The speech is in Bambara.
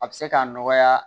A bɛ se k'a nɔgɔya